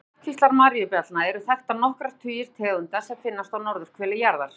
Innan ættkvíslar maríubjallna eru þekktar nokkrir tugir tegunda sem finnast á norðurhveli jarðar.